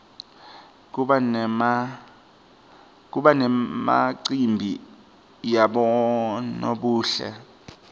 kuba nemacimbi yabonobuhle